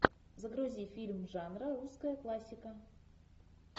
загрузи фильм жанра русская классика